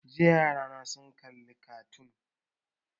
Jiya yarana sun kalli kartoon